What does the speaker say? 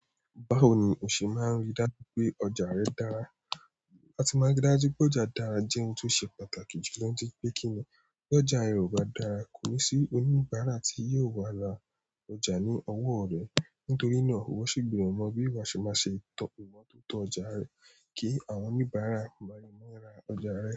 Báwo ni o ṣe máa rí dájú pé ọjà rẹ dára? Láti máa rí dájú pé ọjà dára jẹ́ ohun tó ṣe pàtàkì jù nítorí pé kí ní bi ọjà rẹ ò bá dára kò ni sí oníbàárà tí yóò wà lára ọjà ní ọwọ́ rẹ. Nítorí náà, wọ́n sì gbèrò mọ bí wọ́n ṣe máa ṣe tọ ìmọ́tótó ọjà rẹ kí àwọn oníbàárà máa lé má ra ọjà rẹ.